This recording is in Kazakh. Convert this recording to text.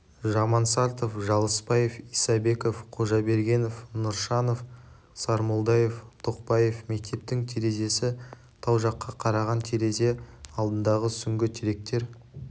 жамансартов жылысбаев исабеков қожабергенов нұршанов сармолдаев тоқбаев мектептің терезесі тау жаққа қараған терезе алдындағы сүңгі теректер